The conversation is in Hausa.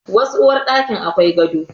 Wasu uwarɗakin akwai gado.